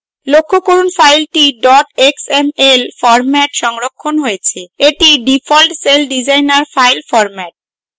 লক্ষ্য করুন file xml ফরম্যাটে সংরক্ষণ হয়েছে এটি ডিফল্ট celldesigner file ফরম্যাট